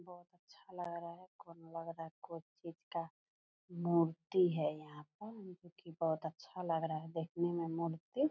बहुत अच्छा लग रहा है कोनो लग रहा है कोई चीज का मूर्ति है यहाँ पर लेकिन बुहत अच्छा लग रहा है देखने मे मूर्ति।